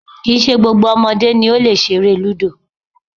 Kì í ṣe gbogbo ọmọdé ni ó lè ṣeré lúdò